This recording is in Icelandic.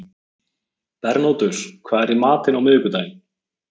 Bernódus, hvað er í matinn á miðvikudaginn?